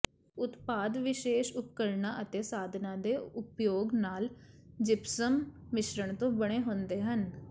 ਉਤਪਾਦ ਵਿਸ਼ੇਸ਼ ਉਪਕਰਣਾਂ ਅਤੇ ਸਾਧਨਾਂ ਦੇ ਉਪਯੋਗ ਨਾਲ ਜਿਪਸਮ ਮਿਸ਼ਰਣ ਤੋਂ ਬਣੇ ਹੁੰਦੇ ਹਨ